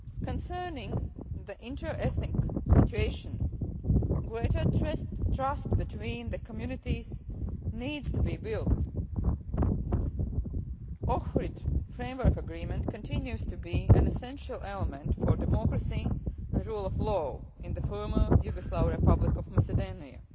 Concerning the inter-ethnic situation, greater trust between the communities needs to be built. The Ohrid Framework Agreement continues to be an essential element for democracy and rule of law in the former Yugoslav Republic of Macedonia.